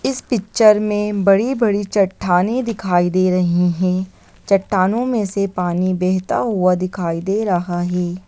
इस पिक्चर में बड़ी-बड़ी चट्टानें दिखाई दे रहीं हैं। चट्टानों में से पानी बहता हुआ दिखाई दे रहा है।